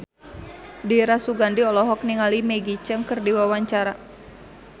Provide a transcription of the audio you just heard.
Dira Sugandi olohok ningali Maggie Cheung keur diwawancara